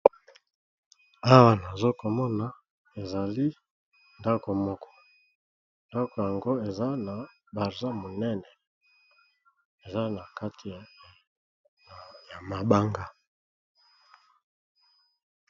Awa nazokomona ezali ndako moko ndako yango eza na barsa monene eza na kati ya mabanga.